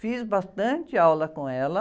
Fiz bastante aula com ela.